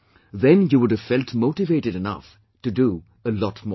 Then you would have felt motivated enough to do a lot more